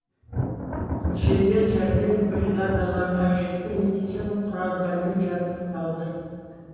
жедел жәрдем бригадалары қажетті медициналық құралдармен жабдықталды